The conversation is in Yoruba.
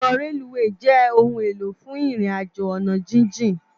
Òkò rélúwé jè óoún éló fún irin àjó àná jijin